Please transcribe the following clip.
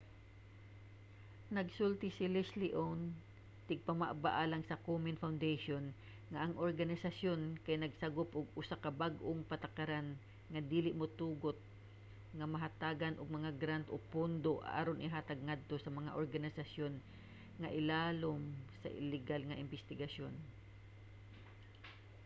nagsulti si leslie aun tigpamaba alang sa komen foundation nga ang organisayon kay nagsagop og usa ka bag-ong patakaran nga dili motugot nga mahatagan og mga grant o pondo aron ihatag ngadto sa mga organisasyon nga ilawom sa ligal nga imbestigasyon